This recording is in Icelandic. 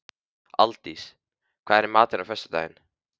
Aldís, hvað er í matinn á föstudaginn?